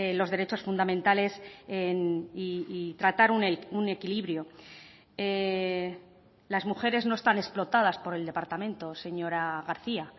los derechos fundamentales y tratar un equilibrio las mujeres no están explotadas por el departamento señora garcía